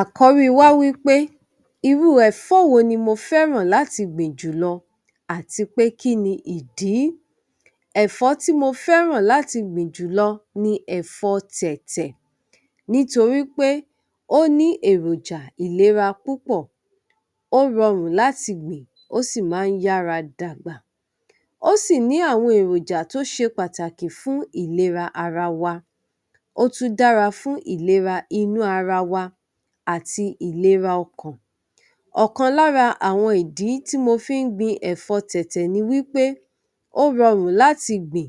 Àkọ́rí wa wí pé, irú ẹ̀fọ́ wo ni mo fẹ́ràn láti gbìn jùlọ àti pé kí ni ìdí? Ẹ̀fọ́ tí mo fẹ́ràn láti gbìn jùlọ ni ẹ̀fọ́ Tẹ̀tẹ̀ nítorí pé ó ní èròjà ìlera púpọ̀, ó rọrùn láti gbìn, ó sì máa ń yára dàgbà. Ó sì ní àwọn èròjà tó ṣe pàtàkì fún ìlera ara wa, ó tún dára fún ìlera inú ara wa àti ìlera ọkàn. Ọ̀kan lára àwọn ìdí tí mo fi ń gbin ẹ̀fọ́ Tẹ̀tẹ̀ ni wí pé ó rọrùn láti gbìn.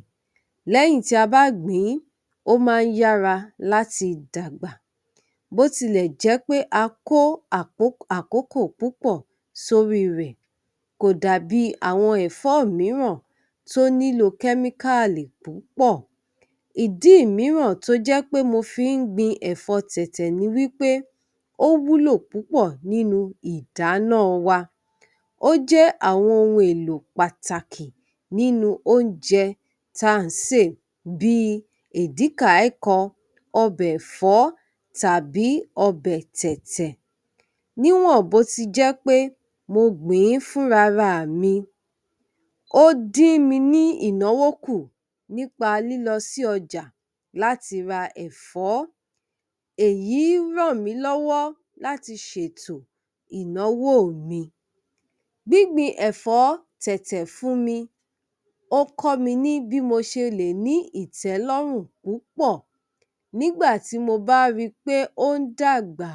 Lẹ́yìn tí a bá gbìn-ín, ó máa ń yára láti dàgbà. Bó ti lẹ̀ jẹ́ pé a kó apok, àkókò púpọ̀ sórí rẹ̀, kò dàbí àwọn ẹ̀fọ́ mìíràn tó nílò kẹ́míkáàlì púpọ̀. Ìdí mìíràn tó jẹ́ pé mo fi ń gbin ẹ̀fọ́ Tẹ̀tẹ̀ ni wí pé ó wúlò púpọ̀ nínú ìdáná wa. Ó jẹ́ àwọn ohun èlò pàtàkì nínú oúnjẹ tá à ń sè bí i Èdíkàíkan, ọbẹ̀ ẹ̀fó tàbí ọbẹ Tẹ̀tẹ̀. Níwọ̀n bó ti jẹ́ pé mo gbìn-ín fúnrara mi, ó dín mi ní ìnáwó kù nípa lílọ sí ọjà láti ra ẹ̀fọ́. Èyí ràn mí lọ́wọ́ láti ṣètò ìnáwó mi. Gbíngbin ẹ̀fọ́ Tẹ̀tẹ̀ fún mi, ó kọ́ mi ní bí mo ṣe lè ní ìtẹ́lórùn púpọ̀. Nígbà tí mo bá ri pé ó ń dàgbà,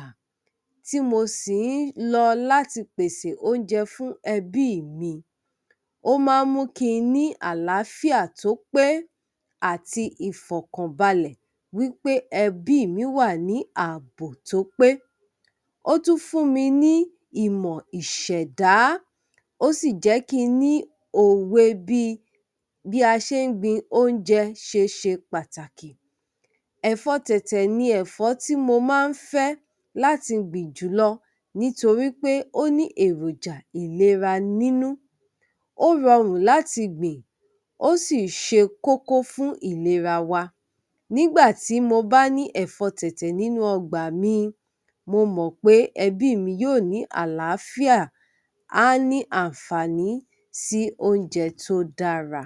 tí mo sì ń lọ láti pèsè oúnjẹ fún ẹbí mi, ó máa mu kí n ní àlàáfíà tó pé àti ìfọ̀kànbalẹ̀ wí pé ẹbí mi wà ní ààbò tó pé. Ó tún fún mi ní ìmọ̀ ìṣèdá, ó sì jẹ́ kí n ní òwe bí i, bí a ṣe ń gbin oúnjẹ ṣe ṣe pàtàkì. Ẹ̀fọ́ Tẹ̀tẹ̀ ni ẹ̀fọ́ tí mo máa ń fẹ́ láti gbìn jùlọ nítorí pé ó ní èròjà ìlera nínú, ó rọrùn láti gbìn, ó sì ṣe kókó fún ìlera wa. Nígbà tí mo bá ní ẹ̀fọ́ Tẹ̀tẹ̀ nínú ọgbà mi, mo mọ̀ pé ẹbí mi yóò ní àlàáfíà, á ní àǹfààní sí oúnjẹ tó dára.